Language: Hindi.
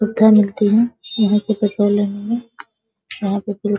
पत्थर मिलते हैं | यहाँ से लेने में यहाँ पे